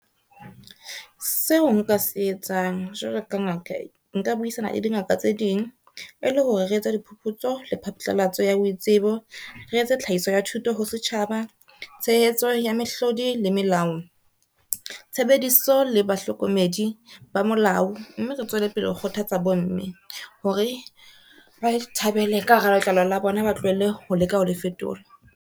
Seo nka se etsang jwalo ka ngaka nka buisana le di ngaka tse ding. E le hore re etse diphuputso le phatlalatso ya boitsebo, re etse tlhahiso ya thuto ho setjhaba, tshehetso ya mehlodi le melao. Tshebediso le bahlokomedi ba molao, mme re tswele pele ho kgothatsa bomme hore ba ithabele ka hara letlalo la bona, ba tlohelle ho leka ho le fetola.